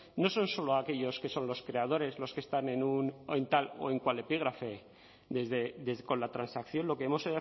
no son solo aquellos que son los creadores los que están en un o en tal o en cual epígrafe con la transacción lo que hemos